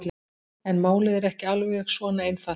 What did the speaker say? En málið er ekki alveg svona einfalt.